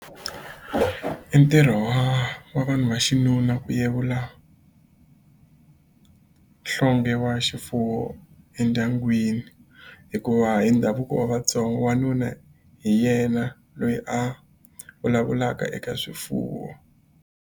I ntirho wa wa vanhu va xinuna ku yevula nhlonghe wa xifuwo endyangwini hikuva hi ndhavuko wa Vatsonga wanuna hi yena loyi a vulavulaka eka swifuwo.